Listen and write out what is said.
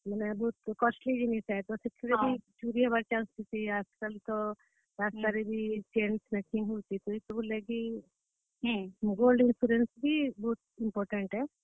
ତ ଗୁଟେ ବହୁତ costly ଜିନିଷ ଆଏ। ସେଥିରେ ବି ଚୁରି ହେବାର chance ବହୁତ ଥିସି, ଆଜିକାଲି ତ ରାସ୍ତା ରେ ବି chain snatching ହେଉଛେ, ତ ଇ ସବୁର ଲାଗି, gold insurance ବି ବହୁତ important ଆଏ।